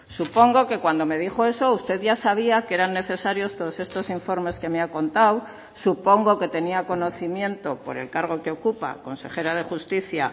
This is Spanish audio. supongo que cuando me dijo eso usted ya sabía que eran necesarios todos estos informes que me ha contado supongo que tenía conocimiento por el cargo que ocupa consejera de justicia